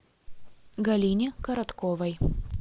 галине коротковой